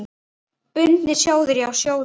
Bundnir sjóðir, sjá sjóðir